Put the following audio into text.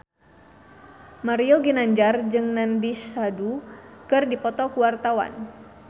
Mario Ginanjar jeung Nandish Sandhu keur dipoto ku wartawan